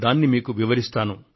దానిని గురించి మీకు వివరిస్తాను